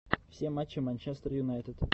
все матчи манчестер юнайтед